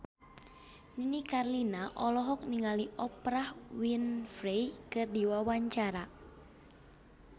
Nini Carlina olohok ningali Oprah Winfrey keur diwawancara